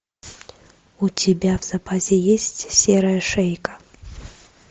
у тебя в запасе есть серая шейка